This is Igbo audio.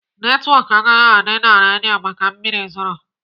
Netwọk agaghị adị na redio maka mmiri zoro.